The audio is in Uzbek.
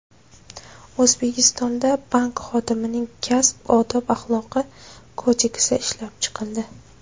O‘zbekistonda Bank xodimining kasb odob-axloqi kodeksi ishlab chiqildi.